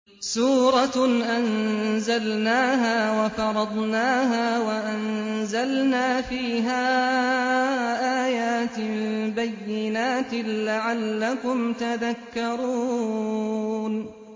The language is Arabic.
سُورَةٌ أَنزَلْنَاهَا وَفَرَضْنَاهَا وَأَنزَلْنَا فِيهَا آيَاتٍ بَيِّنَاتٍ لَّعَلَّكُمْ تَذَكَّرُونَ